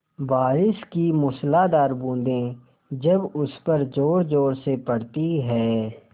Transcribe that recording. बारिश की मूसलाधार बूँदें जब उस पर ज़ोरज़ोर से पड़ती हैं